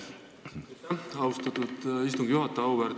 Aitäh, austatud istungi juhataja!